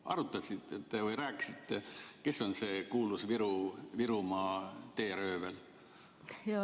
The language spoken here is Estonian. Arutasite te, rääkisite, kes on see kuulus Virumaa teeröövel?